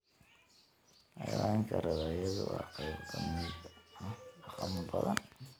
Xayawaanka rabbaayadu waa qayb ka mid ah dhaqamo badan.